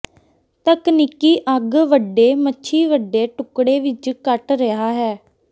ਤਕਨੀਕੀ ਅੱਗ ਵੱਡੇ ਮੱਛੀ ਵੱਡੇ ਟੁਕੜੇ ਵਿੱਚ ਕੱਟ ਰਿਹਾ ਹੈ